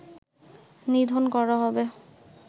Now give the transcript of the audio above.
নিধন করা হবে